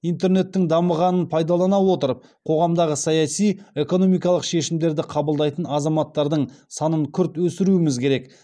интернеттің дамығанын пайдалана отырып қоғамдағы саяси экономикалық шешімдерді қабылдайтын азаматтардың санын күрт өсіруіміз керек